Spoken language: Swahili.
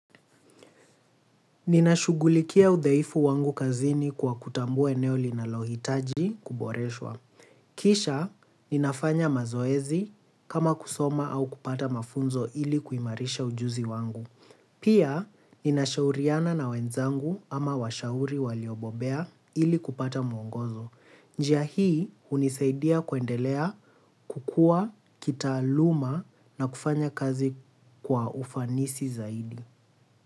Ninashughulikia udhaifu wangu kazini kwa kutambua eneo linalohitaji kuboreshwa. Kisha, ninafanya mazoezi kama kusoma au kupata mafunzo ili kuimarisha ujuzi wangu. Pia, ninashauriana na wenzangu ama washauri waliobobea ili kupata mwongozo. Njia hii unisaidia kuendelea kukua, kitaaluma na kufanya kazi kwa ufanisi zaidi.